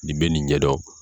Nin bɛ nin ɲɛ dɔn.